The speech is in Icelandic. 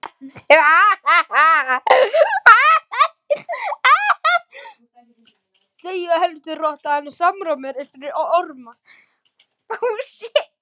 Það small alveg saman, hann var sjálfur kominn í gallann.